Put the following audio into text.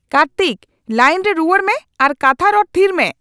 Kartik! Line ᱨᱮ ᱨᱩᱣᱟᱹᱲ ᱢᱮ ᱟᱨ ᱠᱟᱛᱷᱟ ᱨᱚᱲ ᱛᱷᱤᱨ ᱢᱮ ᱾